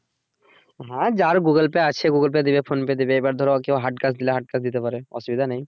হ্যাঁ যার Google Pay আছে Google Pay তে দিবে Phonepe দিবে এবার ধরো hard cash দিলে hard cash দিতে পারে অসুবিধা নেই